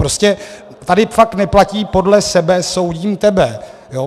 Prostě tady fakt neplatí podle sebe soudím tebe.